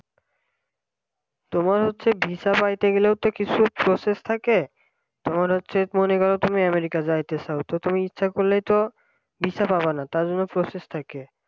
তোমার হচ্ছে visa পাইতে গেলে তো কিছু process থাকে তোমার হচ্ছে মনে করো তুমি আমেরিকা যাইতে চাও তো তুমি ইচ্ছা করলে তো visa পাবা না তার জন্য process থাকে